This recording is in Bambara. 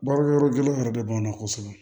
Baarakɛyɔrɔ gɛlɛyanen yɛrɛ de b'anw na kosɛbɛ